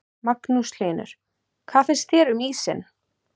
Magnús Hlynur: Hvað finnst þér um ísinn?